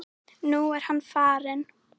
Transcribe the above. Nú er hann farinn.